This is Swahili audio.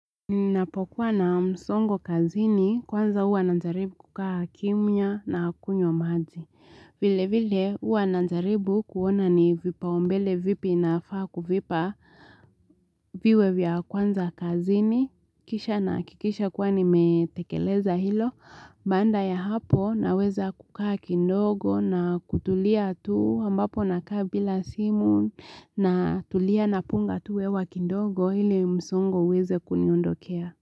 Ninapokuwa na msongo kazini kwanza huwa najaribu kukaa kimya na kunywa maji. Vile vile huwa najaribu kuona ni vipau mbele vipi nafaa kuvipa viwe vya kwanza kazini kisha nahakikisha kua nimetekeleza hilo baada ya hapo naweza kukaakidogo na kutulia tu ambapo nakaa bila simu na tulia na punga tu hewa kidogo ili msongo uweze kuniondokea.